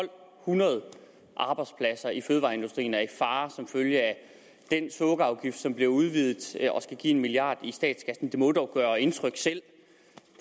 hundrede arbejdspladser i fødevareindustrien er i fare som følge af den sukkerafgift som bliver udvidet og skal give en milliard i statskassen det må dog gøre indtryk selv